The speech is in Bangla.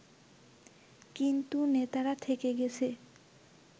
কিন্তু নেতারা থেকে গেছে